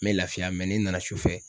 Me lafiya ni n nana sufɛ